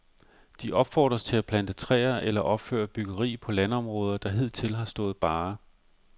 De opfordres til at plante træer eller opføre byggeri på landområder, der hidtil har stået bare.